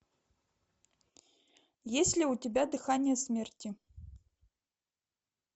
есть ли у тебя дыхание смерти